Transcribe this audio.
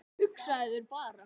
Hugsaðu þér bara